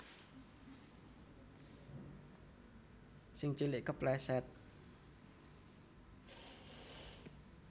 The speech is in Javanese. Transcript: Sing cilik kepleset